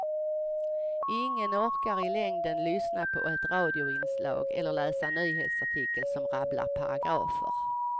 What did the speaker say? Ingen orkar i längden lyssna på ett radioinslag eller läsa en nyhetsartikel som rabblar paragrafer.